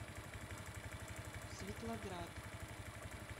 светлоград